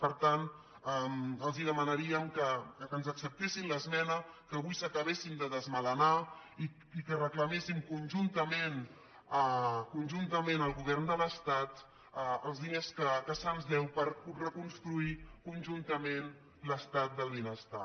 per tant els demanaríem que ens acceptessin l’esme·na que avui s’acabessin de desmelenar i que recla·méssim conjuntament al govern de l’estat els diners que se’ns deuen per reconstruir conjuntament l’estat del benestar